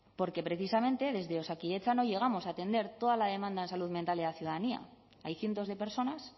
porque precisamente desde osakidetza no llegamos a atender toda la demanda en salud mental de la ciudadanía hay cientos de personas